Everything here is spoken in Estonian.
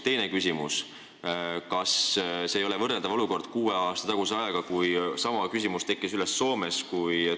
Teine küsimus: kas see ei ole võrreldav olukord kuue aasta taguse ajaga, kui sama küsimus kerkis üles Soomes?